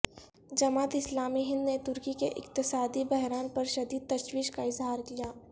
جماعت اسلامی ہند نے ترکی کے اقتصادی بحران پر شدید تشویش کا اظہار کیا